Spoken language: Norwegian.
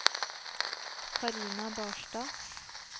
Carina Barstad